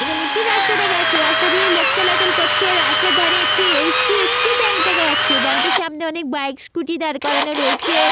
এখানে একটি রাস্তা দেখা যাচ্ছে রাস্তা দিয়ে লোক চলাচল করছে রাস্তার ধরে একটি এইচ.ডি.এফ.সি. ব্যাংক দেখা যাচ্ছে ব্যাংকটির সামনে অনেক বাইক স্কুটি দাঁড় করানো রয়েছে।